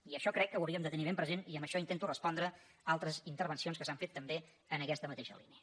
i això crec que ho hauríem de tenir ben present i amb això intento respondre altres intervencions que s’han fet també en aquesta mateixa línia